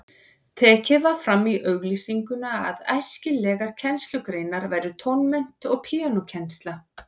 Tekið var fram í auglýsingunni að æskilegar kennslugreinar væru tónmennt og píanókennsla.